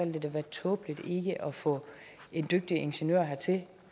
det da være tåbeligt ikke at få en dygtig ingeniør hertil